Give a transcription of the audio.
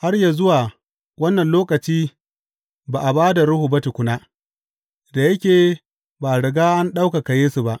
Har yă zuwa wannan lokaci ba a ba da Ruhu ba tukuna, da yake ba a riga an ɗaukaka Yesu ba.